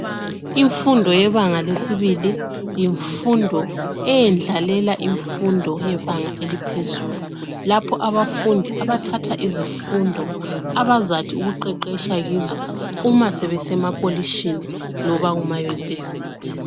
Imfundo yebanga lesibili yimfundo eyendlalela imfundo yebanga eliphezulu lapha abafundi abathatha izifundo abazathi ukuqeqesha kizo sebekuma tertiary loba ema university